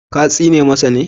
Ka tsine masa ne?